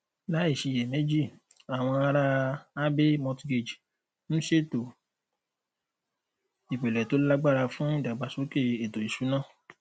láìṣiyèméjì àwọn aráa abbey mortgage ń ṣètò ìpìlẹ to lágbára fún ìdàgbàsókè ètò ìṣúná